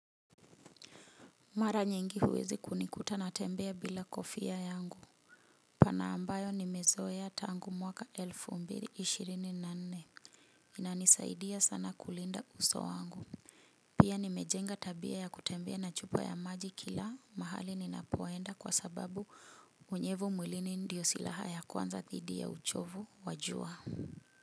Mara nyingi huwezi kunikuta natembea bila kofia yangu. Pana ambayo nimezoea tangu mwaka elfu mbiri ishirini na nne. Inanisaidia sana kulinda uso wangu. Pia nimejenga tabia ya kutembea na chupa ya maji kila mahali ninapo enda kwa sababu unyevu mwilini ndiyo silaha ya kwanza dhidi ya uchovu wa jua.